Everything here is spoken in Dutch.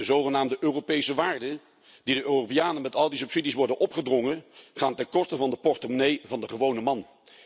De zogenaamde Europese waarden, die de Europeanen met al die subsidies worden opgedrongen, gaan ten koste van de portemonnee van de gewone man.